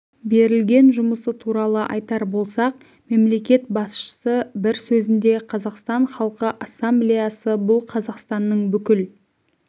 бірлескен жұмысы туралы айтар болсақ мемлекет басшысы бір сөзінде қазақстан халқы ассамблеясы бұл қазақстанның бүкіл